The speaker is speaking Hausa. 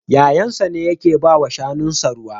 Yayansa ne yake ba wa shanunsa ruwa.